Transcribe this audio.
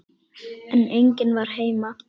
En enginn var heima.